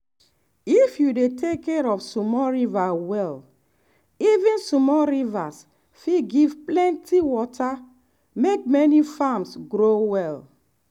if you take care of small river well even small rivers fit give plenty water make many farms grow well.